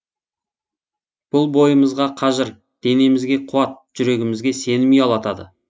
бұл бойымызға қажыр денемізге қуат жүрегімізге сенім ұялатады